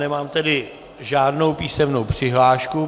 Nemám tedy žádnou písemnou přihlášku.